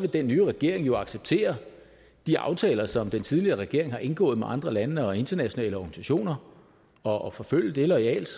vil den nye regering jo acceptere de aftaler som den tidligere regering har indgået med andre lande og internationale organisationer og forfølge det loyalt